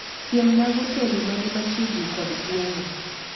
Siemna hotende mani machiegni kod gweng'a